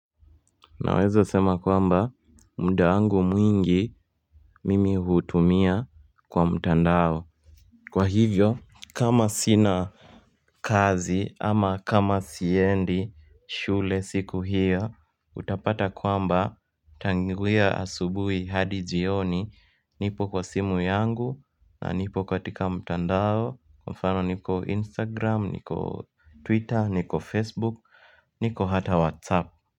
Naweza sema kwamba mdaangu mwingi mimi hutumia kwa mtandao Kwa hivyo kama sina kazi ama kama siendi shule siku hiyo utapata kwamba tanguwea asubui hadi jioni nipo kwa simu yangu na nipo katika mtandao kwa mfano niko instagram niko twitter niko facebook niko hata whatsapp.